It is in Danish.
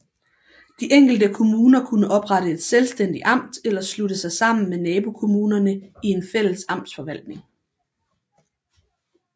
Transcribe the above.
De enkelte kommuner kunne oprette et selvstændigt amt eller slutte sig sammen med nabokommunerne i en fælles amtsforvaltning